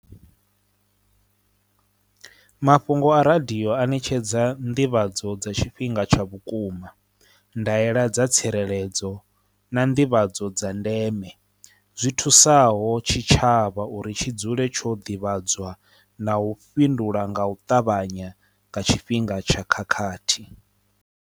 Mafhungo a radio a ṋetshedza nḓivhadzo dza tshifhinga tsha vhukuma, ndaela dza tsireledzo na nḓivhadzo dza ndeme zwi thusaho tshitshavha uri tshi dzule tsho ḓivhadzwa na u fhindula nga u ṱavhanya nga tshifhinga tsha khakhathi.